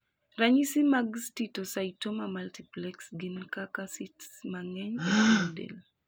Ranyisi mag steatocytoma multiplex gin kaka cysts mang'eny e pien del